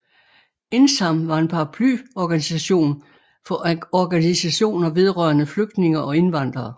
Indsam var en paraplyorganisation for organisationer vedrørende flygtninge og indvandrere